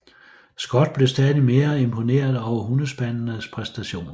Scott blev stadig mere imponeret over hundespandenes præstationer